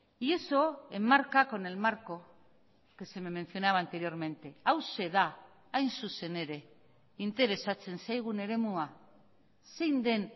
y eso enmarca con el marco que se me mencionaba anteriormente hauxe da hain zuzen ere interesatzen zaigun eremua zein den